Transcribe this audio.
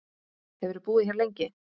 Hefurðu búið hér lengi?